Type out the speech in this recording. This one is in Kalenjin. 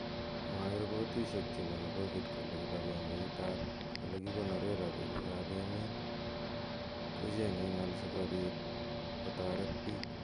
Mwaei repotishek chebunu covid kole kipagengeit ab olekikonore robinik ab emet kochengei ng'al sikobit kotoret bik.